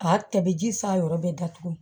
A tɛ bɛ ji s'a yɔrɔ bɛɛ datugu